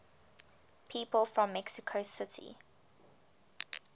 people from mexico city